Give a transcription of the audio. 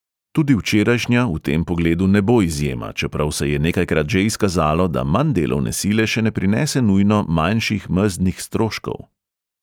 Tudi včerajšnja v tem pogledu ne bo izjema, čeprav se je nekajkrat že izkazalo, da manj delovne sile še ne prinese nujno manjših mezdnih stroškov.